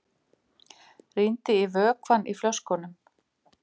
Rýndi í vökvann í flöskunum.